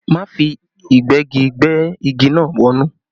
Má fi Ìgbẹ́gi gbẹ́ igi náà wọnú!